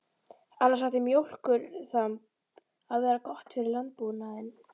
Annars ætti mjólkurþamb að vera gott fyrir landbúnaðinn.